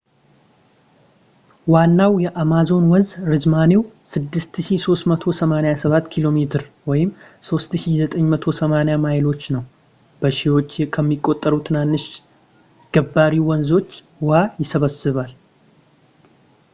ዋናው የአማዞን ወንዝ ርዝማኔው 6,387 ኪ.ሜ 3,980 ማይሎች ነው። በሺዎች ከሚቆጠሩ ትናንሽ ገባሪ ወንዞች ውሃ ይሰበስባል